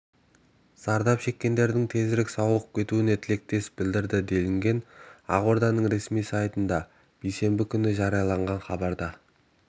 зардап шеккендердің тезірек сауығып кетуіне тілектестік білдірді делінген ақорданың ресми сайтында бейсенбі күні жарияланған хабарда